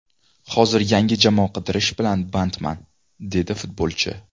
Hozir yangi jamoa qidirish bilan bandman”, dedi futbolchi.